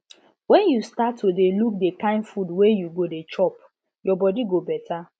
when you start to dey look the kind food wey you go dey chop your body go better